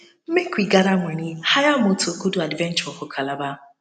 make we gather money hire moto go do adventure for calabar